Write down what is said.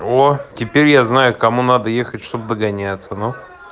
оо теперь я знаю кому надо ехать чтобы догоняться ну